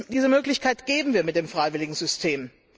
Diese Möglichkeit geben wir mit dem freiwilligen System.